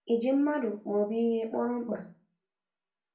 Ị ji mmadụ maọbụ ihe kpọrọ mkpa?